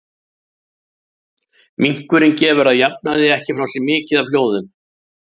Minkurinn gefur að jafnaði ekki frá sér mikið af hljóðum.